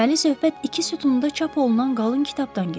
Deməli söhbət iki sütunda çap olunan qalın kitabdan gedir.